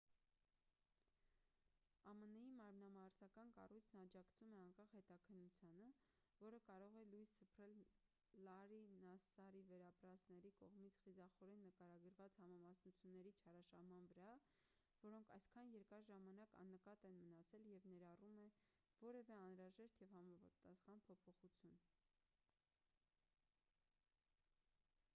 ամն-ի մարմնամարզական կառույցն աջակցում է անկախ հետաքննությանը որը կարող է լույս սփռել լարրի նասսարի վերապրածների կողմից խիզախորեն նկարագրված համամասնությունների չարաշահման վրա որոնք այսքան երկար ժամանակ աննկատ են մնացել և ներառում է որևէ անհրաժեշտ և համապատասխան փոփոխություն